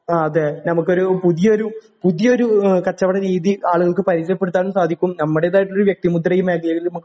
ആ അതെ നമുക്കൊരു പുതിയൊരു പുതിയൊരു ഏഹ് കച്ചവടരീതി ആളുകൾക്ക് പരിചയപ്പെടുത്താനും സാധിക്കും നമ്മുടേത് ആയിട്ടുള്ള ഒരു വ്യക്തിമുദ്ര ഈ മേഖലയില് നമുക്ക്